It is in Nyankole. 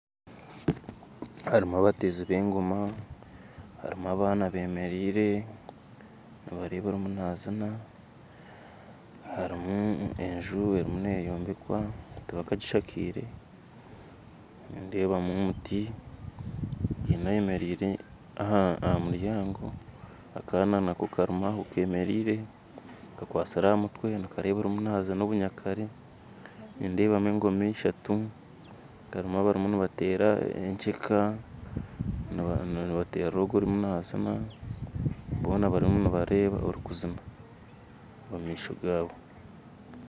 Harimu abateezi b'engooma harimu abaana bemereire nibareeba orimu naziina harimu enju erimu neyombekwa tibakagishakire nindeebamu omuti haine ayemereire aha muryango akaana karimu aho nako kemereire kakwatsire aha mutwe nikareeba arimu naziina obunyakare nindeebamu engooma eshatu harimu abarimu nibateera ekyeka nibateerera ogu arimu naziina boona barimu nibareeba orikuziina omumaisho gaabo